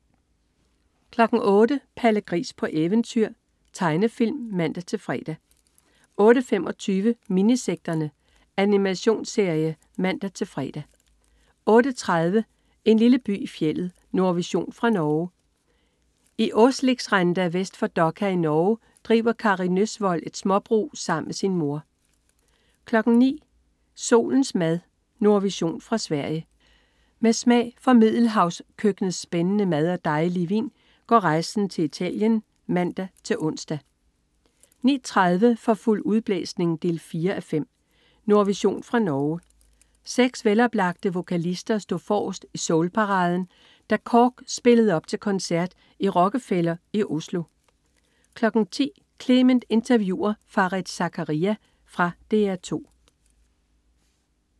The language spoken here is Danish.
08.00 Palle Gris på eventyr. Tegnefilm (man-fre) 08.25 Minisekterne. Animationsserie (man-fre) 08.30 En lille by i fjeldet. Nordvision fra Norge. I Åsligrenda vest for Dokka i Norge driver Kari Nøssvold et småbrug sammen med sin mor 09.00 Solens mad. Nordvision fra Sverige. Med smag for middelhavskøkkenets spændende mad og dejlige vin går rejsen til Italien (man-ons) 09.30 For fuld udblæsning 4:5. Nordvision fra Norge. Seks veloplagte vokalister stod forrest i soulparaden, da KORK spillede op til koncert i Rockefeller i Oslo 10.00 Clement interviewer Fareed Zakaria. Fra DR 2